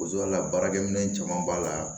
Bozo la baarakɛminɛn caman b'a la